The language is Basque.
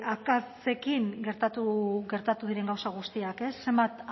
akatsekin gertatu diren gauza guztiak ez zenbat